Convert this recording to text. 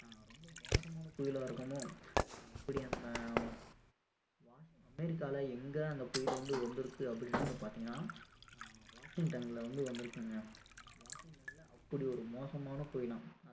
என்ன புயலா இருக்குமோ அப்படி அந்த அமெரிக்கால எங்க அந்த புயல் வந்து வந்திருக்கு அப்படின்னு வந்து பார்த்திங்கன்னா ஆஹ் வாஷிங்டன்ல வந்து வந்திருக்குங்க வாஷிங்டன்ல அப்படி ஒரு மோசமான புயலாம்